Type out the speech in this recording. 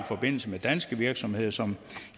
forbindelse med danske virksomheder som